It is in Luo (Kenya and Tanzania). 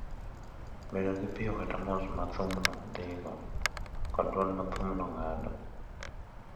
bedo gi piyo kata mos ma thum dhigo kod dwol ma thumno ng’ado.